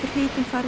farið